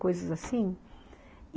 Coisas assim.